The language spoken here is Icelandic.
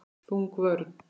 Þung vörn.